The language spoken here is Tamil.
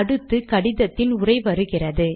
அடுத்து கடிதத்தின் உரை வருகிறது